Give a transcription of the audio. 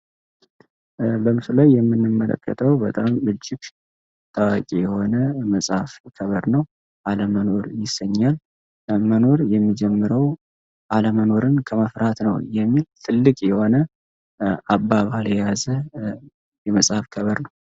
በምስሉ ላይ የምንመለከተው በጣም እጅግ ታዋቂ የሆነ የመጽሐፍ ገብር ነው አለመኖር ይሰኛል አለመኖር የሚጀምረው አለመኖርን ከመፍራት ነው የሚል ትልቅ የሆነ አባባል የያዘ የመጽሐፍ ገቨር ነው።